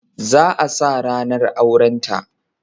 Za a sa ranar aurenta